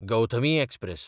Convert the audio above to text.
Gautami express